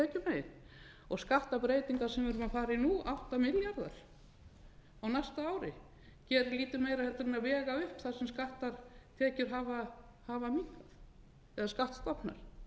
prósent tekjumegin skattabreytingar sem við erum að fara í nú átta milljarðar á næsta ári gerir lítið meira heldur en að vega upp það sem skatttekjur hafa minnkað eða skattstofnar